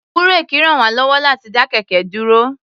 Búréèkì ràn wá lọ́wọ́ láti dá kẹ̀kẹ́ dúró.